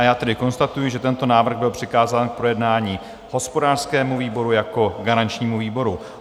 A já tedy konstatuji, že tento návrh byl přikázán k projednání hospodářskému výboru jako garančnímu výboru.